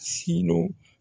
Sino